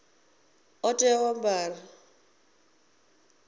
ḓo tea u a ambara